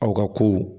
Aw ka ko